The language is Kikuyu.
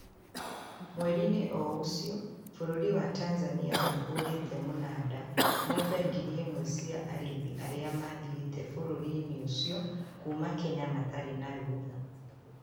Mweriinĩ oũcio bũrũri wa Tanzania nĩũhũrĩte mũnada ng'ombe ngiri ĩmwe cia arĩithi arĩa mathiĩte bũrũriinĩ ucio kuma Kenya matarĩ na rũtha